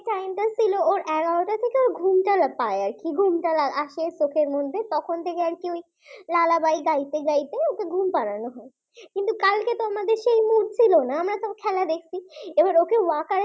ছিল এগার টা থেকে ঘুমটা পায় আরকি ঘুমটা আসে চোখের মধ্যে তখন থেকে লা লা বাই গাইতে গাইতে ওকে ঘুম পাড়ানো হয় কিন্তু কালকে তো আমাদের সেই Mood ছিল না আমরা তো খেলা দেখছি ওকে walker এ ফেলে